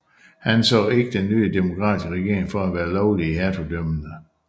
Han anså ikke den nye demokratiske regering for at være lovlig i hertugdømmerne